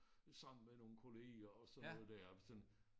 Sammen med nogle kollegaer og sådan noget der